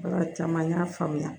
Baara caman y'a faamuya